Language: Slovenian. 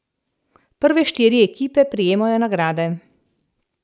Prve štiri ekipe prejmejo nagrade.